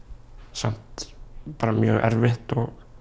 samt mjög erfitt